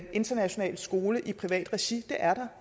international skole i privat regi de er der